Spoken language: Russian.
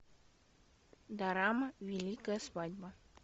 дорама великая свадьба